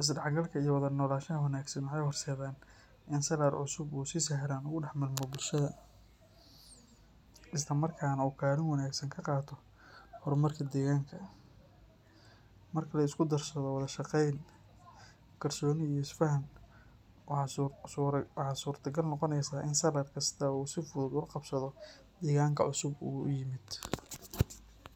Isdhexgalka iyo wada noolaanshaha wanaagsan waxay horseedaan in salaar cusub uu si sahlan ugu dhex milmo bulshada, isla markaana uu kaalin wanaagsan ka qaato horumarka deegaanka. Marka la isku darsado wada shaqeyn, kalsooni iyo is faham, waxaa suurtagal noqonaysa in salaar kasta uu si fudud ula qabsado deegaanka cusub ee uu yimid.